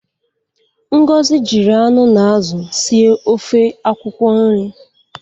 Ngozi jiri anụ na azụ sie ofe akwụkwọ nri.